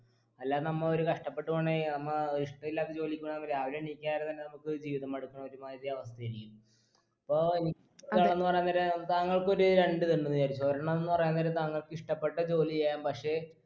അല്ലാതെ നമ്മ ഒരു കഷ്ടപ്പെട്ട് പോണേ നമ്മ ഇഷ്ട്ടില്ലാതെ ജോലിക്ക് പോണേൽ നമ്മ രാവിലെ എണീക്കാരം തന്നെ നമുക്കൊരു ജീവിതം മടുത്ത ഒരു മാതിരി അവസ്ഥയായിരിക്കും അപ്പൊ ഇനി ക്കാണെന്ന് പറയും നേരം താങ്കൾക്ക് ഒരു രണ്ടിത് ഇണ്ട് വിചാരിച്ചോ ഒരെണ്ണം എന്ന് പറയന്നേരം താങ്കൾക്ക് ഇഷ്ട്ടപ്പെട്ട ജോലി ചെയ്യാം പക്ഷേ